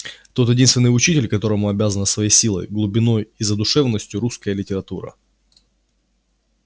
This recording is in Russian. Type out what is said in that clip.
тот единственный учитель которому обязана своей силой глубиной и задушевностью русская литература